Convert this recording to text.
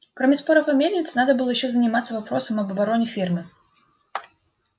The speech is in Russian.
кроме споров о мельнице надо было ещё заниматься вопросом об обороне фермы